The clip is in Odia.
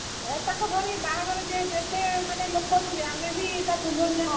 ହେ ତାଙ୍କ ଘରେ ବାହାଘରରେ ଯେହେତୁ ଏତେ ମାନେ ଲୋକ ଥିବେ ଆମେ ବି ତା ପୂର୍ବ ଦିନ ଯିବା।